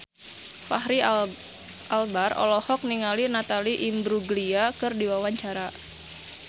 Fachri Albar olohok ningali Natalie Imbruglia keur diwawancara